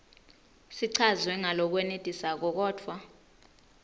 sichazwe ngalokwenetisako kodvwa